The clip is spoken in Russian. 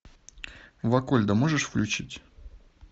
вакольда можешь включить